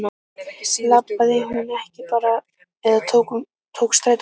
Labbaði hún ekki bara eða tók strætó heim?